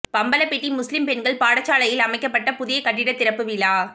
பம்பலப்பிட்டி முஸ்லிம் பெண்கள் பாடசாலையில் அமைக்கப்பட்ட புதிய கட்டிட திறப்பு விழா